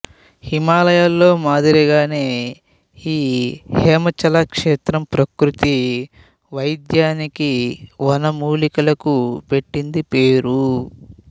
హిమాలయాల్లో మాదిరిగానే ఈ హేమాచల క్షేత్రం ప్రకృతి వైద్యానికి వనమూలికలకు పెట్టింది పేరు